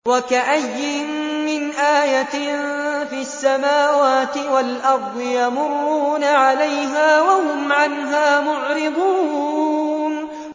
وَكَأَيِّن مِّنْ آيَةٍ فِي السَّمَاوَاتِ وَالْأَرْضِ يَمُرُّونَ عَلَيْهَا وَهُمْ عَنْهَا مُعْرِضُونَ